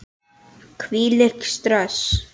Hvílíkt stress!